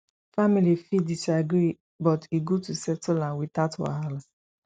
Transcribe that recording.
family fit disagree but e good to settle am without wahala